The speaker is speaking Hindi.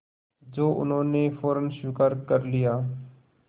जो उन्होंने फ़ौरन स्वीकार कर लिया